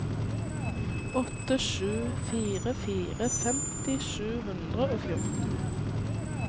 åtte sju fire fire femti sju hundre og fjorten